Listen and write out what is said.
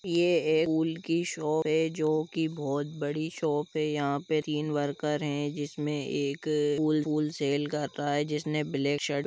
यह एक फुल की शॉप है जो की बहुत बड़ी शॉप है यहां पे तीन वर्कर है इसमें एक फूल सेल कर रहा है जिसने ब्लैक शर्ट --